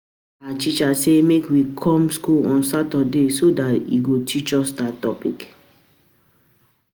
Our teacher say make we come school on saturday so dat he go teach us dat topic